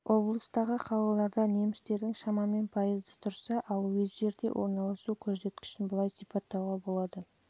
облыстағы қалаларда немістердің шамамен пайызы тұрса ал уездерде орналасу көрсеткішін былай сипаттауға болады